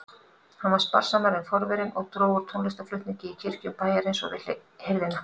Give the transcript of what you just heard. Hann var sparsamari en forverinn og dró úr tónlistarflutningi í kirkjum bæjarins og við hirðina.